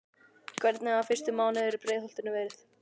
Hvernig hafa fyrstu mánuðirnir í Breiðholtinu verið?